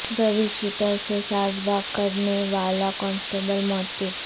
روڈی sheeter سے ساز باز کرنے والا کانسٹبل معطل